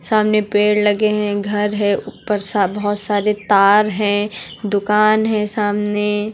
सामने पेड़ लगे है घर है ऊपर सा बहोत सारे तार है दुकान है सामने।